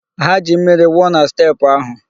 Ha ji mmiri wụọ na steepụ ahụ.